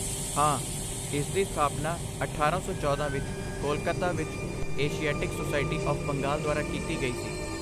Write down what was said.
ਹਾਂ, ਇਸਦੀ ਸਥਾਪਨਾ ਅਠਾਰਾਂ ਸੌ ਚੌਦਾਂ ਵਿੱਚ ਕੋਲਕਾਤਾ ਵਿੱਚ ਏਸ਼ੀਆਟਿਕ ਸੋਸਾਇਟੀ ਆਫ਼਼ ਬੰਗਾਲ ਦੁਆਰਾ ਕੀਤੀ ਗਈ ਸੀ